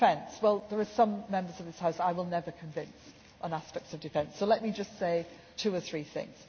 On defence, there are some Members of this House who I will never convince on aspects of defence, so let me just say two or three things.